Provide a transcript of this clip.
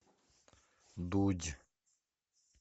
дудь